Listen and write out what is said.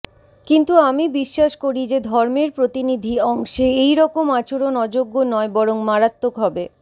কিন্তু আমি বিশ্বাস করি যে ধর্মের প্রতিনিধি অংশে এইরকম আচরণ অযোগ্য নয় বরং মারাত্মক হবে